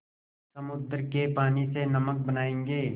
समुद्र के पानी से नमक बनायेंगे